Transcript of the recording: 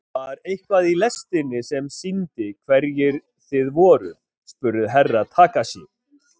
Var eitthvað í lestinni sem sýndi hverjir þið voruð spurði Herra Takashi.